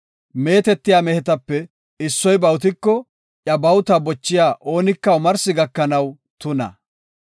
“Meetetiya mehetape issoy bawutiko, iya bawuta bochiya oonika omarsi gakanaw tuna.